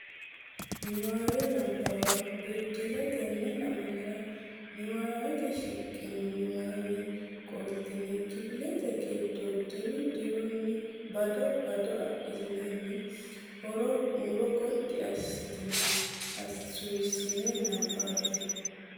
Niwaawe Nabbawa Biddissa Tenne lamalara nabbawate shiqqino niwaawe qoltine kifilete giddo diru dirunni bado bado adhitinanni huuro gotti assitine suwissine nabbabbe.